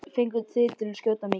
Fenguð þið að skjóta mikið?